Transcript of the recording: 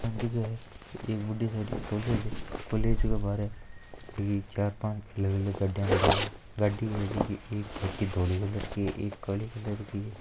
दिख रही है एक बड़ी सारी कॉलेज है कॉलेज के बार चार पांच अलग अलग गाड़ी खड़ी है गाडी है झकी एक छोटी धोली कलर की है एक काली कलर की है।